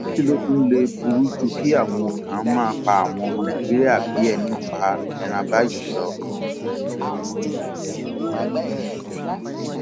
kí ló tún lè burú ju kí àwọn kan máa pa àwọn ọmọ nàìjíríà bíi ẹni pẹran báyìí lọ